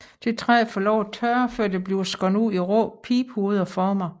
Dette træ får lov til at tørre før det bliver skåret ud i rå pibehovedformer